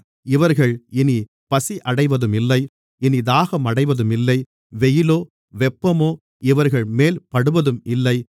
இவர்கள் இனிப் பசியடைவதும் இல்லை இனித் தாகமடைவதும் இல்லை வெயிலோ வெப்பமோ இவர்கள்மேல் படுவதும் இல்லை